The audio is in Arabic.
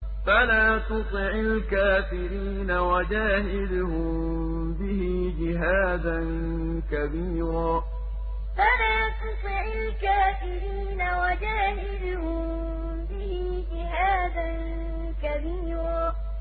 فَلَا تُطِعِ الْكَافِرِينَ وَجَاهِدْهُم بِهِ جِهَادًا كَبِيرًا فَلَا تُطِعِ الْكَافِرِينَ وَجَاهِدْهُم بِهِ جِهَادًا كَبِيرًا